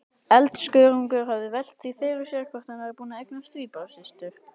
Eldskörungur hefði velt því fyrir sér hvort hann væri búinn að eignast tvíburasystur!